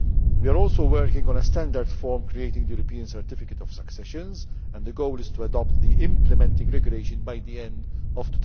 We are also working on a standard form for the European Certificate of Succession, and the goal is to adopt the implementing regulation by the end of